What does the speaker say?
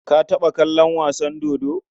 Ka taɓa kallon wasa dodo?